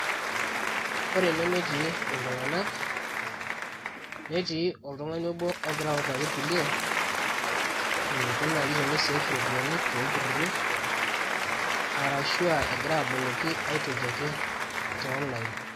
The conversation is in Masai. Ore ene netii iltung'anak netii oltung'ani obo ogira autaki irkulie eniko naaji teni save iropiyiani toolturruri arashu aa egira aboloki aitoki ake te online.